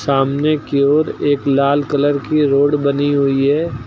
सामने की ओर एक लाल कलर की रोड बनी हुई है।